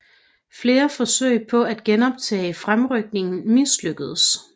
Flere forsøg på at genoptage fremrykningen mislykkedes